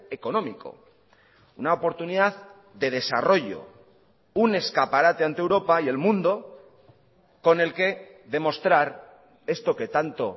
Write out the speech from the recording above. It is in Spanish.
económico una oportunidad de desarrollo un escaparate ante europa y el mundo con el que demostrar esto que tanto